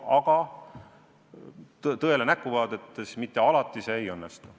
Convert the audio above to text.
Aga tõele näkku vaadates tuleb tunnistada, et mitte alati see ei õnnestu.